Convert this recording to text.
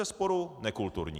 Bezesporu nekulturní.